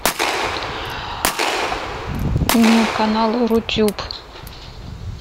канал рутюб